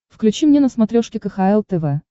включи мне на смотрешке кхл тв